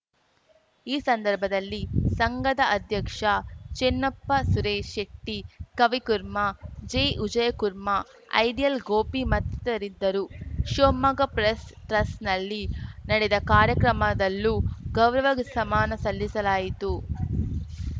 ಈ ಸಂದರ್ಭದಲ್ಲಿ ಸಂಘದ ಅಧ್ಯಕ್ಷ ಚಿನ್ನಪ್ಪ ಸುರೇಶ್‌ ಶೆಟ್ಟಿ ಕವಿಕುರ್ಮಾ ಜಿ ವಿಜಯಕುರ್ಮಾಐಡಿಯಲ್‌ ಗೋಪಿ ಮತ್ತಿತರರಿದ್ದರು ಶಿವಮೊಗ್ಗ ಪ್ರೆಸ್‌ ಟ್ರಸ್ಟ್‌ನಲ್ಲಿ ನಡೆದ ಕಾರ್ಯಕ್ರಮದಲ್ಲೂ ಗೌರವ ಸಮಾನ ಸಲ್ಲಿಸಲಾಯಿತು